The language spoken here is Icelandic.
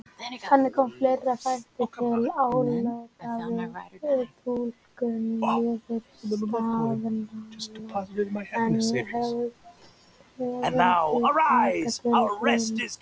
Þannig koma fleiri þættir til álita við túlkun niðurstaðnanna en höfundar taka til greina.